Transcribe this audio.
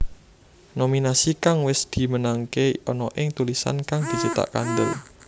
Nominasi kang wis dimenangké ana ing tulisan kang dicetak kandhel